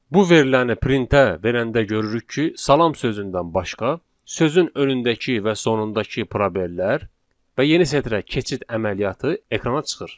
Bu veriləni printerə verəndə görürük ki, salam sözündən başqa, sözün önündəki və sonundakı probellər və yeni sətrə keçid əməliyyatı ekrana çıxır.